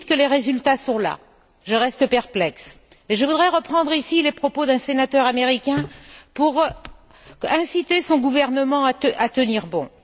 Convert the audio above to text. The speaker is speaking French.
Vous nous dites que les résultats sont là je reste perplexe et je voudrais reprendre ici les propos tenus par un sénateur américain pour inciter son gouvernement à tenir bon.